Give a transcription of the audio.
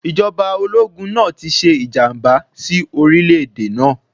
Ìjọba ológun náà ti ṣe ìjàmbá sí orílẹ̀-èdè náà.